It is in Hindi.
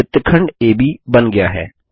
वृत्तखंड एबी बन गया है